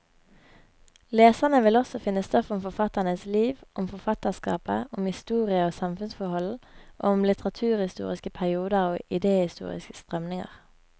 Leserne vil også finne stoff om forfatternes liv, om forfatterskapet, om historie og samfunnsforhold, og om litteraturhistoriske perioder og idehistoriske strømninger.